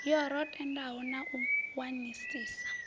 yo randelwaho na u wanisisa